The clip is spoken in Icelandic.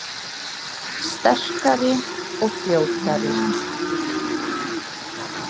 Sterkari og fljótari